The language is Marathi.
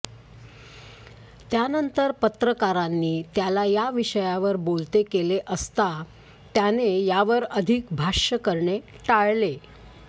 त्यानंतर पत्रकारांनी त्याला या विषयावर बोलते केले असात त्याने यावर अधिक भाष्य करणे टाळले